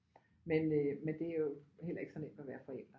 Men øh men det er jo heller ikke så nemt at være forælder